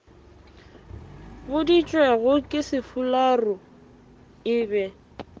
boditšwego ke sefularo e be